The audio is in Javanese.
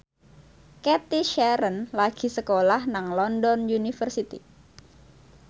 Cathy Sharon lagi sekolah nang London University